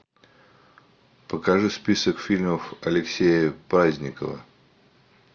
покажи список фильмов алексея праздникова